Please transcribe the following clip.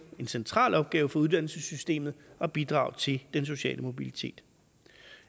central opgave for uddannelsessystemet at bidrage til den sociale mobilitet